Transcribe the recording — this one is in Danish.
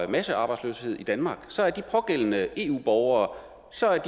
massearbejdsløshed i danmark så er de pågældende eu borgere